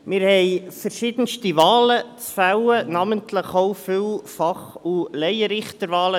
Wir haben verschiedenste Wahlen vorzunehmen, namentlich auch viele Fach- und Laienrichterwahlen.